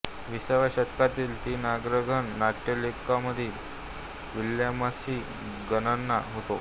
विसाव्या शतकातील तीन अग्रगण्य नाट्यलेखकांमध्ये विल्यम्सची गणना होते